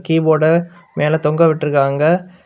கீபோர்ட மேல தொங்க விட்டுறுக்காங்க.